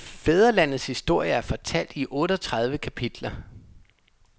Fædrelandets historie er fortalt i otteogtredive kapitler.